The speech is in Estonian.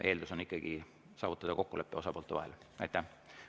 Eeldus on ikkagi saavutada osapoolte vahel kokkulepe.